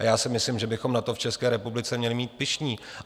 A já si myslím, že bychom na to v České republice měli být pyšní.